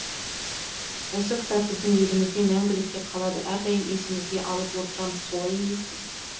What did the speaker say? ол кітап біздің есімізде мәңгілікке қалады әрдайым есімізге алып отырамыз солай емес пе